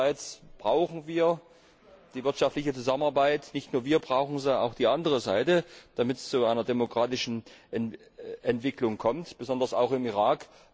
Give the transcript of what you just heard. Einerseits brauchen wir die wirtschaftliche Zusammenarbeit nicht nur wir brauchen sie, auch die andere Seite damit es zu einer demokratischen Entwicklung kommt, besonders auch im Irak.